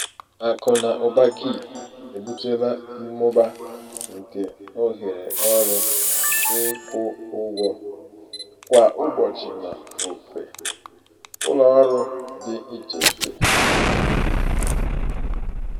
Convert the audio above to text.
akụ na ụba gig ebutela mmụba nke ohere ọrụ ịkwụ ụgwọ um kwa ụbọchị n'ofe um ụlọ ọrụ dị iche iche. um